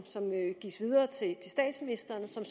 gives videre til statsministeren som